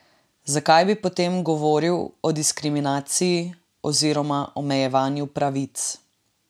Zakaj bi potem govorili o diskriminaciji oziroma omejevanju pravic?